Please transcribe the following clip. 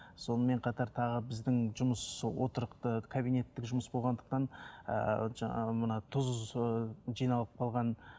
сонымен қатар тағы біздің жұмыс отырықты кабинеттік жұмысы болғандықтан ыыы жаңағы мына тұз ыыы жиналып қалған